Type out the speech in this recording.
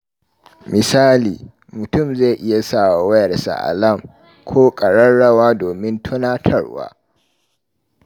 Misali, mutum zai iya sa wa wayarsa alam ko ƙararrawa don tunatarwa.